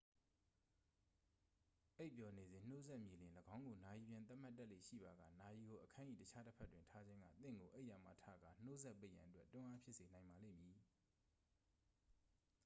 အိပ်ပျော်နေစဉ် နှိုးစက်မြည်လျှင် ၎င်းကို နာရီပြန်သတ်မှတ်တတ်လေ့ရှိပါက နာရီကို အခန်း၏တခြားတစ်ဖက်တွင် ထားခြင်းက သင့်ကိုအိပ်ယာမှထကာ နှိုးစက်ပိတ်ရန်အတွက် တွန်းအားဖြစ်စေနိုင်ပါလိမ့်မည်